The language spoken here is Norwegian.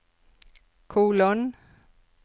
kolon